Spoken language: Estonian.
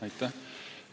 Aitäh!